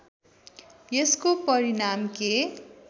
यसको परिणाम के